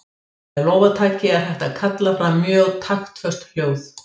Með lófataki er hægt að kalla fram mjög taktföst hljóð.